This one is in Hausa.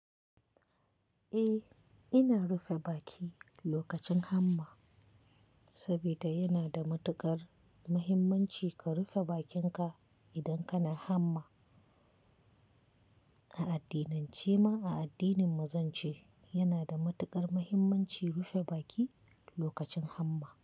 Eh, ina rufe baki lokacin hamma saboda yana da matuƙar muhimmanci ka rufe bakinka idan kana hamma. A addinance ma, a addinin mu zance yana da matuƙar muhimmanci rufe baki lokacin hamma.